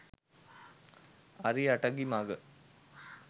අරි අටඟි මඟ